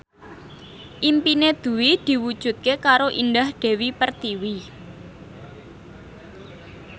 impine Dwi diwujudke karo Indah Dewi Pertiwi